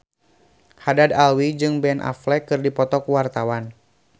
Haddad Alwi jeung Ben Affleck keur dipoto ku wartawan